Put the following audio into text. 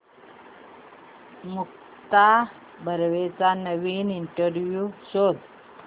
मुक्ता बर्वेचा नवीन इंटरव्ह्यु शोध